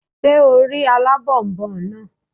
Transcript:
Ṣé o rí alábònboǹ náà?